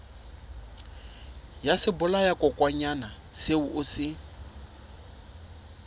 ya sebolayakokwanyana seo o se